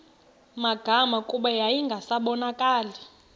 magama kuba yayingasabonakali